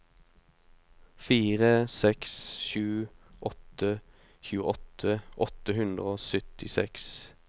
fire seks sju åtte tjueåtte åtte hundre og syttiseks